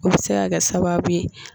O bɛ se ka kɛ sababuye.